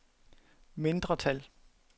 mindretal